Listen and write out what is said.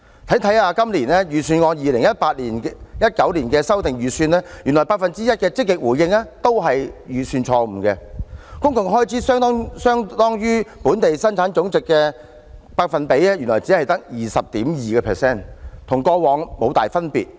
翻看今年 2018-2019 年度的修訂預算，原來 1% 的"積極回應"是預算錯誤，公共開支相當於本地生產總值只有 20.2%， 與過往無大分別。